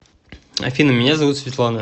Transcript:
афина меня зовут светлана